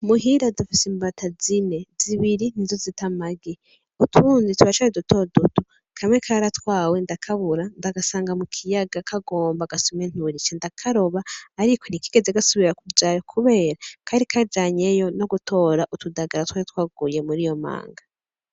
Muhira dufise imbata zine zibiri nizo zita amagi utundi turacari duto duto kamwe karatwawe ndakabura ndagasanga mukiyaga kagomba gasome nturi cadakaroba ariko ntikigeze gasubira kujayo kubera kari kajanyeyo nogutora utudagara twari twaguyeyo mur' iyo manga